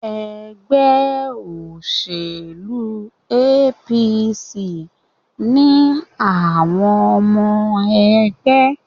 Ẹgbẹ́ òṣèlú APC ni àwọn ọmọ ẹgbẹ́.